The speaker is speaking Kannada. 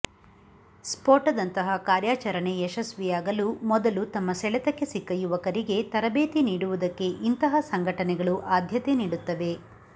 ಸ್ಫೋಟದಂತಹ ಕಾರ್ಯಾಚರಣೆ ಯಶಸ್ವಿಯಾಗಲು ಮೊದಲು ತಮ್ಮ ಸೆಳೆತಕ್ಕೆ ಸಿಕ್ಕ ಯುವಕರಿಗೆ ತರಬೇತಿ ನೀಡುವುದಕ್ಕೆ ಇಂತಹ ಸಂಘಟನೆಗಳು ಆದ್ಯತೆ ನೀಡುತ್ತವೆ